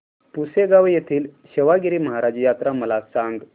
पुसेगांव येथील सेवागीरी महाराज यात्रा मला सांग